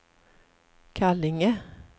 Kallinge